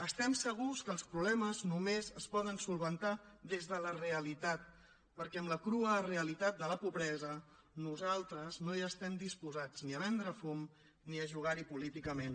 estem segurs que els problemes només es poden resoldre des de la realitat perquè amb la crua realitat de la pobresa nosaltres no estem disposats ni a vendre fum ni a jugar hi políticament